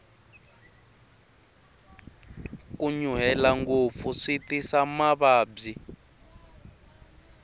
ku nyuhela ngopfu swi tisa mavabyi